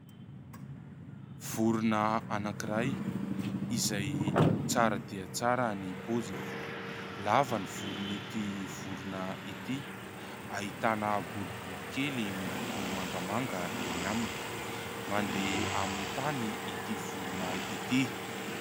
Vorona anankiray izay tsara dia tsara ny poziny. Lava ny volony ity vorona ity, ahitana boribory kely miloko mangamanga eny aminy, mandeha amin'ny tany ity vorona ity.